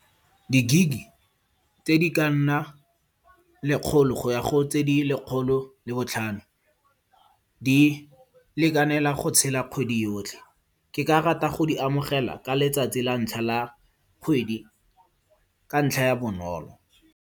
Di gig-e tse di ka nna lekgolo go ya go tse di lekgolo le botlhano di lekanela go tshela kgwedi yotlhe. Ke ka rata go di amogela ka letsatsi la ntlha la kgwedi ka ntlha ya bonolo.